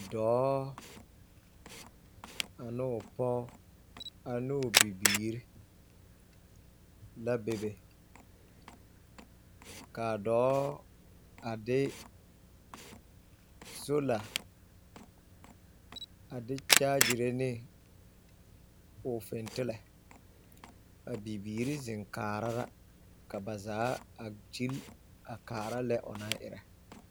Dɔɔ... a n'o pɔɔ, a n'o bibiir... la be be. K'a dɔɔ a de soola a de kyaagyire ne o fentelɛ. A bibiiri zeŋ kaara la, ka ba zaa gyil a kaara lɛ o na erɛ.